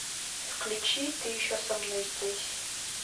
включи ты еще со мной здесь